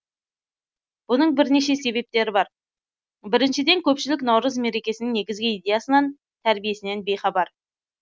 бұның бірнеше себептері бар біріншіден көпшілік наурыз мерекесінің негізгі идеясынан тәрбиесінен бейхабар